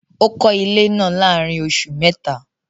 Ó kọ́ ilé náà láàárín oṣù mẹ́ta